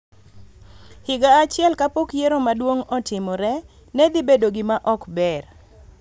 higa achiel kapok yiero maduong� otimre, ne dhi bedo gima ok ber.